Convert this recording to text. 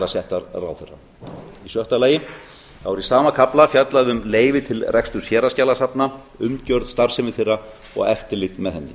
settar en ráðherra sjötta í sama kafla er fjallað um leyfi til reksturs héraðsskjalasafna umgjörð starfsemi þeirra og eftirlit með henni